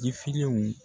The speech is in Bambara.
Jifilenw